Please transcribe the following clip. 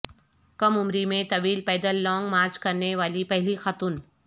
کم عمری میں طویل پیدل لانگ مارچ کرنے والی پہلی خاتون